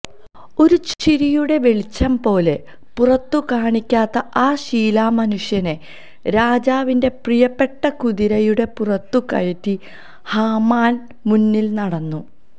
ഒരു ചെറുചിരിയുടെ വെളിച്ചംപോലും പുറത്തു കാണിക്കാത്ത ആ ശിലാമനുഷ്യനെ രാജാവിന്റെ പ്രിയപ്പെട്ട കുതിരയുടെ പുറത്തു കയറ്റി ഹാമാന് മുന്നില് നടന്നു